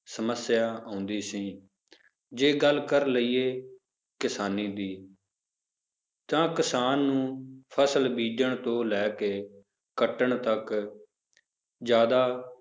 ਸਮੱਸਿਆ ਆਉਂਦੀ ਸੀ ਜੇ ਗੱਲ ਕਰ ਲਈਏ ਕਿਸਾਨੀ ਦੀ ਤਾਂ ਕਿਸਾਨ ਨੂੰ ਫਸਲ ਬੀਜ਼ਣ ਤੋਂ ਲੈ ਕੇ ਕੱਟਣ ਤੱਕ ਜ਼ਿਆਦਾ